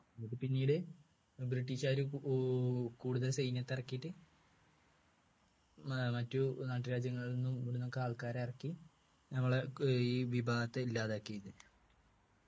എന്നിട്ട് പിന്നീട് british കാരു ഊ കൂടുതൽ സൈന്യത്തെ ഇറക്കിയിട്ട് ഏർ മറ്റു നാട്ടുരാജ്യങ്ങളിൽ നിന്നും ഉം ഒക്കെ ആൾക്കാരെ ഇറക്കി നമ്മളെ ഏർ ഈ വിഭാഗത്തെ ഇല്ലാതാക്കി